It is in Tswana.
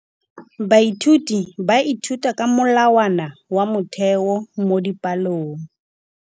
Baithuti ba ithuta ka molawana wa motheo mo dipalong.